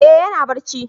Eh ya na barci